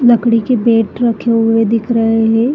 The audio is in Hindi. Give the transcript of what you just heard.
लकड़ी के बेट रखे हुए दिख रहे हैं।